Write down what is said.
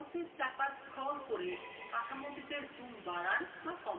mouseএর চাকা scroll করে কাঠামোটিতে zoom বাড়ান বা কমান